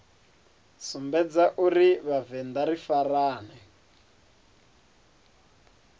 sumbedza uri vhavenḓa ri farane